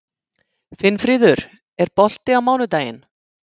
Finnfríður, er bolti á mánudaginn?